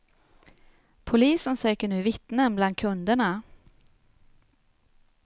Polisen söker nu vittnen bland kunderna.